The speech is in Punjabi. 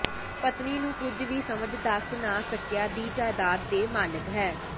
ਪਤਨੀ ਨੂੰ ਕੁਝ ਵੀ ਸਮਝ ਦੱਸ ਨਾ ਸਕਿਆ ਦੀ ਜਾਇਦਾਦ ਦੇ ਮਾਲਕ ਹੈ